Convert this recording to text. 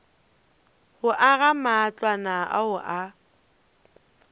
go aga matlwana ao a